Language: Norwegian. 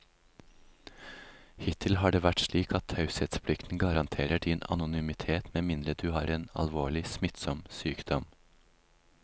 Hittil har det vært slik at taushetsplikten garanterer din anonymitet med mindre du har en alvorlig, smittsom sykdom.